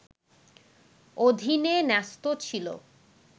অধীনে ন্যস্ত ছিল